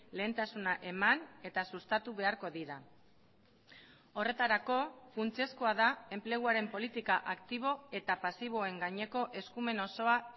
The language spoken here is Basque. lehentasuna eman eta sustatu beharko dira horretarako funtsezkoa da enpleguaren politika aktibo eta pasiboen gaineko eskumen osoa